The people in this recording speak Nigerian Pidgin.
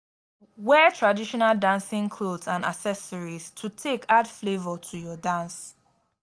wear traditional dancing cloth and accessories to take add flavour to your dance